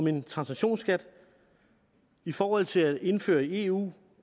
en transaktionsskat i forhold til at indføre den i eu